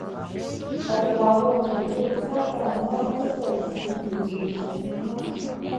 ọpọ àwọn òṣèré tìata ni wọn pèsè síbi ètò ìsìnkú náà